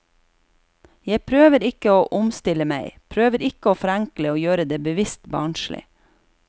Jeg prøver ikke å omstille meg, prøver ikke å forenkle og gjøre det bevisst barnslig.